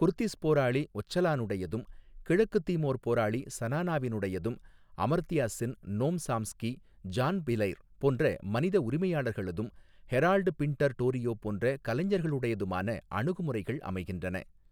Kurdish போராளி ஒச்சலானுடையதும் கிழக்கு திமோர் போராளி ஸனானாவினுடையதும் Amartya Sen Noam Chomsky John Pilger போன்ற மனித உரிமையாளர்களதும் ஹெரால்ட் பின்ட்டர் டோரியோ போன்ற கலைஞர்களுடையதுமான அணுகுமுறைகள் அமைகின்றன.